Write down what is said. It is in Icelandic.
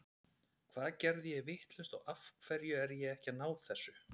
Hvað er ég að gera vitlaust og af hverju er ég ekki að ná þessu?